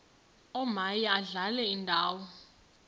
omaye adlale indawo